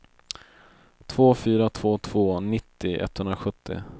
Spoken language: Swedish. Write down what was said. två fyra två två nittio etthundrasjuttio